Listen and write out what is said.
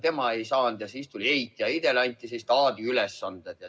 Tema ei saanud kätte ja siis tuli eit ja eidele anti taadi ülesanded.